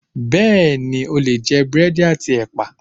Bẹẹni, o lè jẹ búrẹ́dì àti ẹpa.